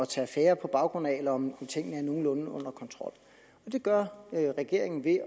tage affære på baggrund af eller om tingene er nogenlunde under kontrol det gør regeringen ved